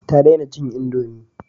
Ta dena cin indomi